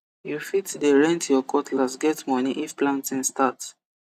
u fit de rent ur cutlass get moni if planting start